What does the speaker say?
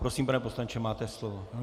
Prosím, pane poslanče, máte slovo.